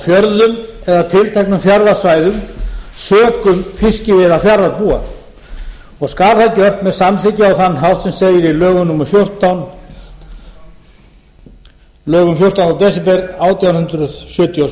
fjörðum eða tilteknum fjarðasvæðum sökum fiskiveiða fjarðarbúa og skal það gert með samþykki á þann hátt sem segir í lögum númer fjórtánda desember átján hundruð sjötíu og sjö